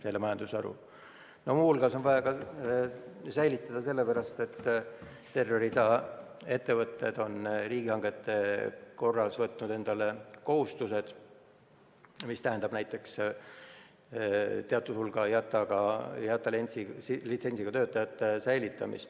Muu hulgas on vaja säilitada sellepärast, et terve rida ettevõtteid on riigihangete korras võtnud endale kohustused, mis tähendab näiteks seda, et teatud hulk IATA litsentsiga töötajaid tuleb säilitada.